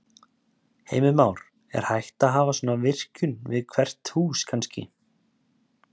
Heimir Már: Er hægt að hafa svona virkjun við bara hvert hús kannski?